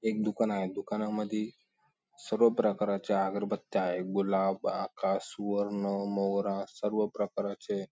एक दुकान आहे दुकानामधी सर्व प्रकाराच्या अगरबत्त्या आहे गुलाब आकाश वर्ण मोगरा सर्व प्रकाराचे --